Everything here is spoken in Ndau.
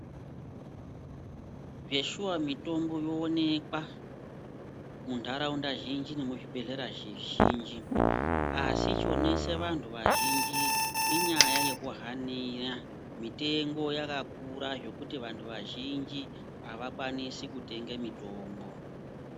Zveshuwa mitombo yoonekwa mundaraunda zhinji nemuzvibhehlera zvizhinji asi chonese vantu vazhinji inyaya yekuhanira mitengo yakakura zvekuti vanhu vazhinji avakwanisi kutenge mitombo.